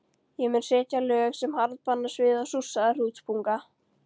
Ég mun setja lög sem harðbanna svið og súrsaða hrútspunga.